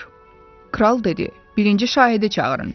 Kral dedi: Birinci şahidi çağırın.